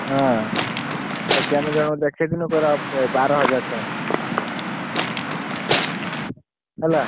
ହଁ ସେଇଠି ଆମେ ଜଣକୁ ଦେଖେଇଥିଲୁ କହିଲା ବାର ହଜାରେ ଟଙ୍କା ହେଲା।